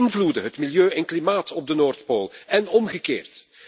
Wij beïnvloeden het milieu en klimaat op de Noordpool en omgekeerd.